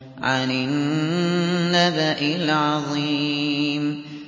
عَنِ النَّبَإِ الْعَظِيمِ